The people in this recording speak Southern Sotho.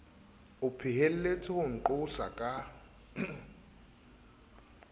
o phehelletse ho nqosa ka